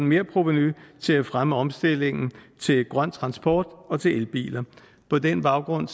merprovenu til at fremme omstillingen til grøn transport og til elbiler på den baggrund